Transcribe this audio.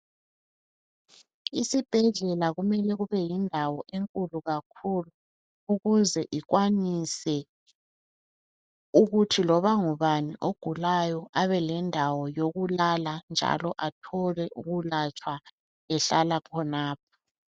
Isibhedlela kumele kube yindawo enkulu kakhulu ukuze ikwanise ukuthi loba ngubani ogulayo abelendawo yokulala njalo abelendawo yokulatshwa ehlala khonapho